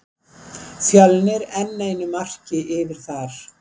Fjölnir enn einu marki yfir þar.